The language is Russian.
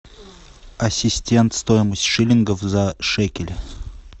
ассистент стоимость шиллингов за шекели